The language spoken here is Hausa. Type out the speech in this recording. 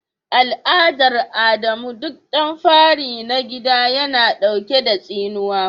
Al'adar Adamu duk dan fari na gida yana dauke da tsinuwa.